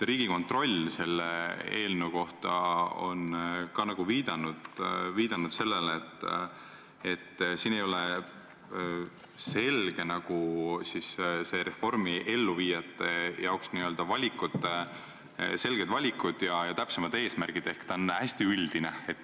Riigikontroll on selle eelnõu kohta viidanud, et siin ei ole reformi elluviijate jaoks selgeid valikuid ja täpsemaid eesmärke ehk ta on hästi üldine.